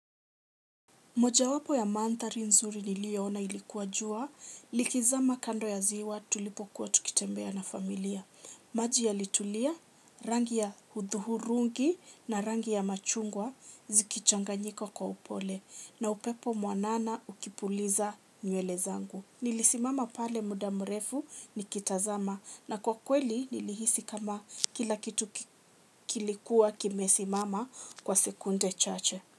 Mojawapo ya manthari nzuri nilioona ilikuwa jua, likizama kando ya ziwa tulipokuwa tukitembea na familia. Maji yalitulia, rangi ya huthuhurungi na rangi ya machungwa zikichanganyika kwa upole na upepo mwanana ukipuliza nywele zangu. Nilisimama pale muda mrefu nikitazama na kwa kweli nilihisi kama kila kitu kilikuwa kimesimama kwa sekunde chache.